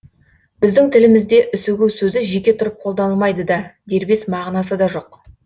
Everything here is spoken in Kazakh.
біздің тілімізде үсігу сөзі жеке тұрып қолданылмайды да дербес мағынасы да жоқ